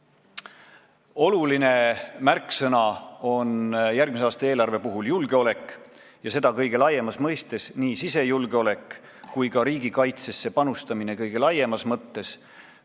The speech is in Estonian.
Oluline märksõna järgmise aasta eelarve puhul on julgeolek ja seda kõige laiemas mõistes: nii sisejulgeolek kui ka riigikaitse kõige laiemas mõttes.